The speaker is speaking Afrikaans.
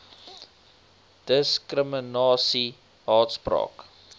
diskrimina sie haatspraak